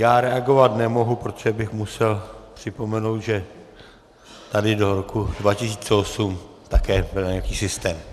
Já reagovat nemohu, protože bych musel připomenout, že tady do roku 2008 také byl nějaký systém.